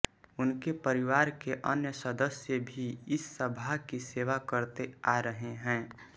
उनके परिवार के अन्य सदस्य भी इस सभा की सेवा करते आ रहे हैं